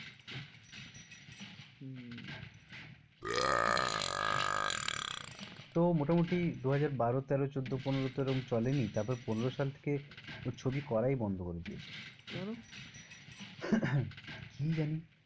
তো মোটামুটি দুহাজার বারো তেরো চোদ্দ পনেরো তো এরম চলেনি তারপর পনেরো সাল থেকে ও ছবি করাই বন্ধ করে দিয়েছে। কেনো? কি জানি।